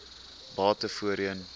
bate voorheen